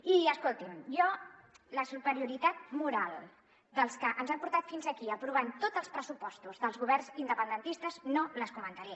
i escolti’m jo la superioritat moral dels que ens han portat fins aquí aprovant tots els pressupostos dels governs independentistes no la comentaré